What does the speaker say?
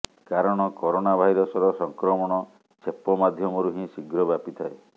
କାରଣ କରୋନା ଭାଇରସର ସଂକ୍ରମଣ ଛେପ ମାଧ୍ୟମରୁ ହିଁ ଶୀଘ୍ର ବ୍ୟାପିଥାଏ